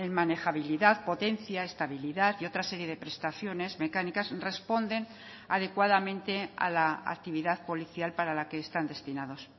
manejabilidad potencia estabilidad y otra serie de prestaciones mecánicas responden adecuadamente a la actividad policial para la que están destinados